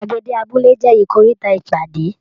Gbàgede abúlé jẹ ikoríta ìpàdé.